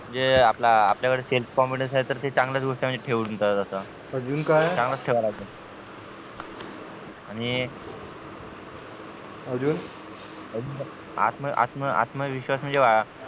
म्हणजे आता आपल्या कळे self confidence ते चांगलच गोष्ट अजून काय चांगलंच ठेवा लागेल आणि अजून आत्म आत्म आत्म आत्मविश्वास म्हणजे बघा